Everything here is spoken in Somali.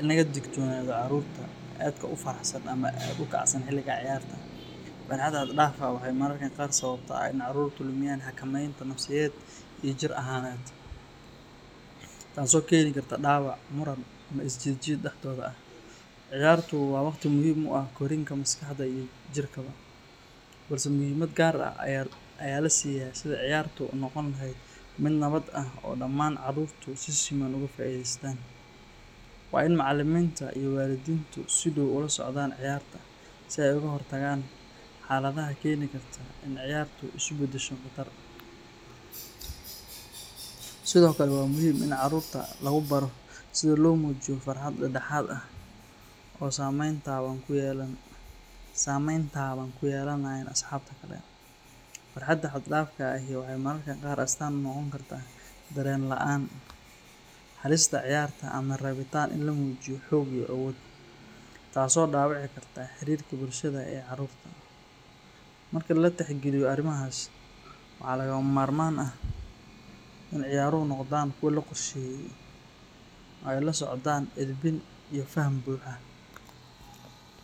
in laga digtoonaado carruurta aadka u faraxsan ama aad u kacsan xilliga ciyaarta. Farxad xad dhaaf ah waxay mararka qaar sababtaa in carruurtu lumiyaan xakameynta nafsiyeed iyo jir ahaaneed, taasoo keeni karta dhaawac, muran ama is jiid jiid dhexdooda ah. Ciyaartu waa waqti muhiim u ah korriinka maskaxda iyo jirkaba, balse muhiimad gaar ah ayaa la siiyaa sidii ciyaartu u noqon lahayd mid nabad ah oo dhammaan carruurtu si siman uga faa’iidaystaan. Waa in macallimiinta iyo waalidiintu si dhow ula socdaan ciyaarta, si ay uga hortagaan xaaladaha keeni kara in ciyaartu isu beddesho khatar. Sidoo kale, waa muhiim in carruurta lagu baro sida loo muujiyo farxad dhexdhexaad ah oo aan saameyn taban ku yeelanayn asxaabta kale. Farxadda xad dhaafka ahi waxay mararka qaar astaan u noqon kartaa dareen la’aan halista ciyaarta ama rabitaan in la muujiyo xoog iyo awood, taasoo dhaawici karta xiriirka bulshada ee carruurta. Marka la tixgeliyo arrimahaas, waxaa lagama maarmaan ah in ciyaaruhu noqdaan kuwo la qorsheeyay oo ay la socdaan edbin iyo faham buuxa.